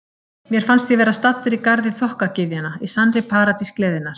Mér fannst ég vera staddur í garði þokkagyðjanna, í sannri paradís gleðinnar.